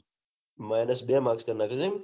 minus બે કરી નાખે એમ